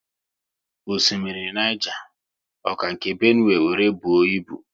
Osimiri Niger, ọ ka nke Benue wéré buo ibu?